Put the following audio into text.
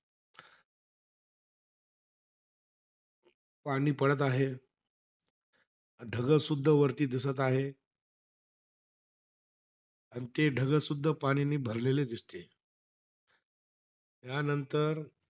पाणी पडत आहे. ढगंसुद्धा वरती दिसत आहे. अन ते ढगंसुद्धा पाणीने भरलेले दिसते. त्यांनतर,